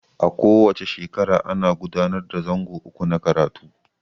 A ko wace shekara ana gudanar da zango uku na karatu.